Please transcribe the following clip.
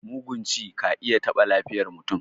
Mugun ci ka iya taɓa lafiyar mutum.